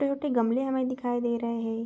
छोटे-छोटे गमले हमें दिखाई दे रहे हैं।